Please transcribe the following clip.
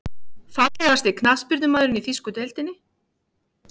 Fallegasti knattspyrnumaðurinn í þýsku deildinni?